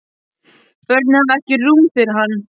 Börnin hafa ekki rúm fyrir hann.